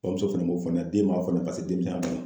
Bamuso fana b'o fɔ ne ye den ma